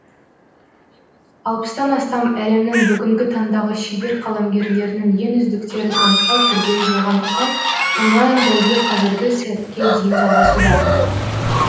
алпыстан астам әлемнің бүгінгі таңдағы шебер қаламгерлерінің ең үздіктерін анықтау күрделі болғандықтан онлайн бәйге қазіргі сәтке дейін жалғасуда